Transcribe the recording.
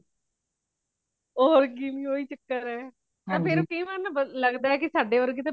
ਹੋਰ ਕਿ ਓਹੀ ਚੱਕਰ ਹੇ ਫੇਰ ਕਈ ਵਾਰ ਲੱਗਦਾ ਹੀ ਮੇਰੇ ਵਰਗੇ